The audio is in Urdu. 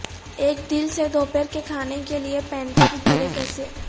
ایک دل سے دوپہر کے کھانے کے لئے پینکیکس بھرے کیسے